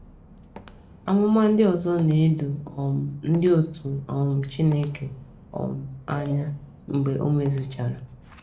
Amụma ndị ọzọ na - edo um ndị otú um Chineke um anya mgbe ọ mezuchara.